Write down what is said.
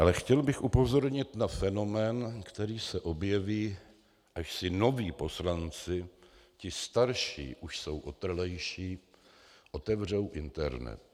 Ale chtěl bych upozornit na fenomén, který se objeví, až si noví poslanci - ti starší už jsou otrlejší - otevřou internet.